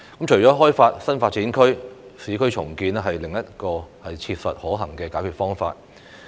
除了開發新發展區，市區重建是另一個切實可行的解決方法。